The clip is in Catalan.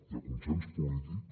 hi ha consens polític